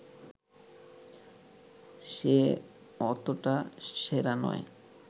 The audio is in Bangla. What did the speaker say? সে অতটা সেরা নয়